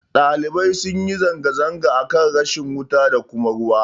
Ɗalibai sunyi zanga-zanga akan rashin wuta da kuma ruwa